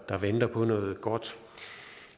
der venter på noget godt